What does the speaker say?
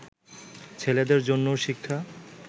ছেলেদের জন্যও শিক্ষা